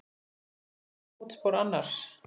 Hver fetar í fótspor annars.